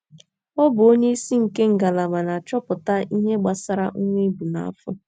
Ọ bụ onyeisi nke ngalaba na - achọpụta ihe gbasara nwa e bu n’afọ.